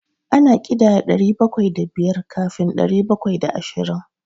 Ana ƙidaya ɗari bakwai da biyar kafin ɗari bakwai da ashirin.